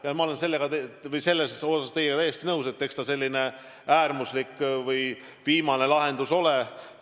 Ja ma olen selles osas teiega täiesti nõus, et eks ta selline äärmuslik või viimane lahendus ole.